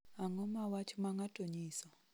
Ang�o ma wach ma ng�ato nyiso?